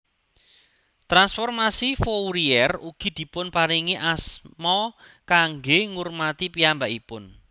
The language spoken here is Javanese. Transformasi Fourier ugi dipun paringi asma kanggé ngurmati piyambakipun